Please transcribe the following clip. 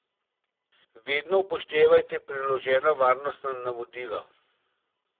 Vedno upoštevajte priložena varnostna navodila.